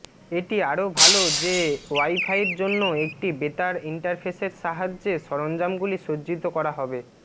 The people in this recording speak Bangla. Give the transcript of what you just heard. এটি আরও ভাল যে ওয়াইফাইয়ের জন্য একটি বেতার ইন্টারফেসের সাহায্যে সরঞ্জামগুলি সজ্জিত করা হবে